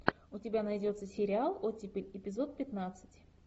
у тебя найдется сериал оттепель эпизод пятнадцать